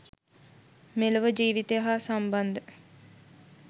මෙලොව ජීවිතය හා සම්බන්ධ